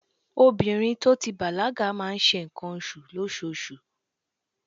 Obìnrin to ti bàlágà máa ń ṣe ǹkan oṣù lóṣoṣù.